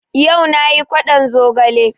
Yau nayi kwaɗon zogale